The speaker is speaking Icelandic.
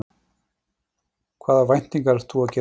Hvaða væntingar ert þú að gera til sumarsins?